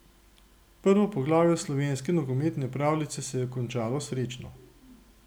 Prvo poglavje slovenske nogometne pravljice se je končalo srečno!